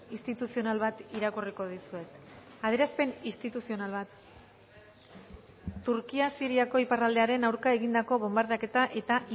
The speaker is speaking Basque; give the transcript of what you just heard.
instituzional bat irakurriko dizuet adierazpen instituzional bat turkia siriako iparraldearen aurka egindako bonbardaketa eta